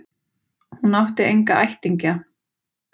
Hún átti enga ættingja.